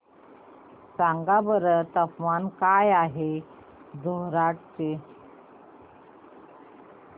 सांगा बरं तापमान काय आहे जोरहाट चे